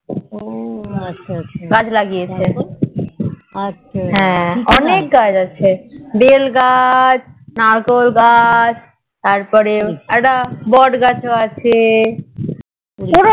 গাছ লাগিয়েছে হ্যাঁ অনেক গাছ আছে বেল গাছ নারকেল গাছ তারপরে বোট গাছ ও আছে